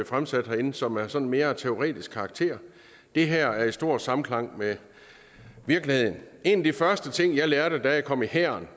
fremsat herinde som er sådan af mere teoretisk karakter det her er i en stor samklang med virkeligheden en af de første ting jeg lærte da jeg kom i hæren